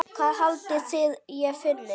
Hvað haldið þið ég finni?